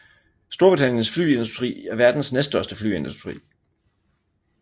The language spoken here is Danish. Storbritanniens flyindustri er verdens næststørste flyindustri